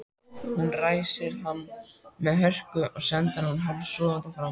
Hún ræsir hann með hörku og sendir hann hálfsofandi fram.